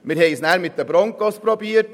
Dann haben wir es mit den Broncos versucht;